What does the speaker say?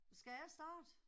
Skal jeg starte?